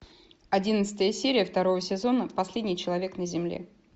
одиннадцатая серия второго сезона последний человек на земле